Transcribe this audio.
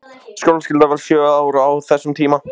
Skólaskyldan var sjö ár á þessum tíma.